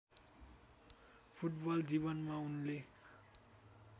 football जीवनमा उनले